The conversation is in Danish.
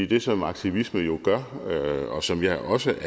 det som aktivisme jo gør og som jeg også